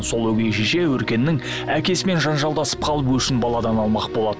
сол өгей шеше өркеннің әкесімен жанжалдасып қалып өшін баладан алмақ болады